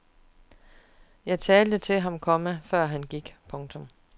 Jeg talte til ham, komma før han gik. punktum